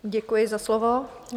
Děkuji za slovo.